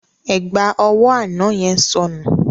Ẹ̀gbà ọwọ́ àná yẹn sọnù.